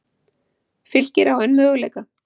Fylkir á enn möguleika